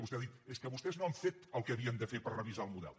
vostè ha dit és que vostès no han fet el que havien de fer per revisar el model